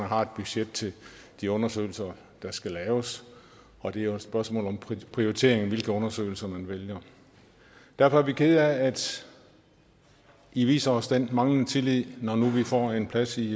har et budget til de undersøgelser der skal laves og det er jo et spørgsmål om prioritering i hvilke undersøgelser man vælger derfor er vi kede af at i viser os den manglende tillid når nu vi får en plads i